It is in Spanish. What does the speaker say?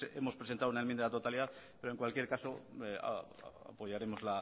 hemos presentado una enmienda a la totalidad pero en cualquier caso apoyaremos